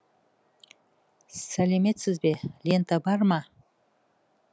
сәлеметсіз бе лента бар ма